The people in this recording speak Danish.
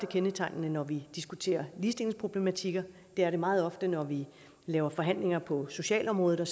kendetegnende når vi diskuterer ligestillingsproblematikker det er det meget ofte når vi laver forhandlinger på socialområdet